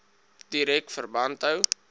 direk verband hou